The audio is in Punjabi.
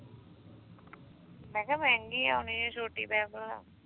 ਮੈਂ ਕਿਹਾ ਮਹਿੰਗੀ ਆਉਣੀ ਆ ਛੋਟੀ